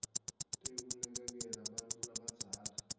tekunakekela bantfu labadzala